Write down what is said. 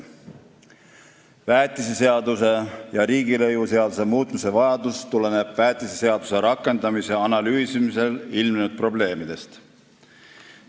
Väetiseseaduse ja riigilõivuseaduse muutmise vajadus tuleneb väetiseseaduse rakendamise analüüsimisel ilmnenud probleemidest.